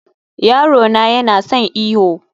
yaro na yana son yin iyo